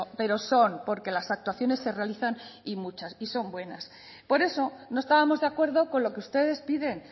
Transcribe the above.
pero son porque las actuaciones se realizan y muchas y son buenas por eso no estábamos de acuerdo con lo que ustedes piden